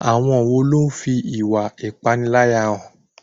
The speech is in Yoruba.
Àwọn wo ló fi ìwà ìpániláyà hàn?